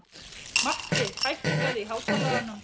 Matti, hækkaðu í hátalaranum.